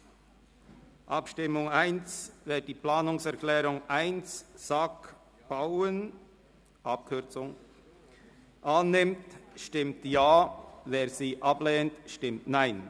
Zur ersten Abstimmung: Wer die Planungserklärung 1 SAK/Bauen annimmt, stimmt Ja, wer diese ablehnt, stimmt Nein.